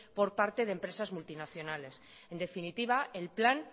por parte de empresas multinacionales en definitiva el plan